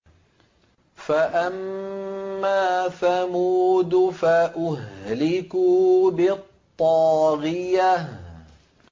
فَأَمَّا ثَمُودُ فَأُهْلِكُوا بِالطَّاغِيَةِ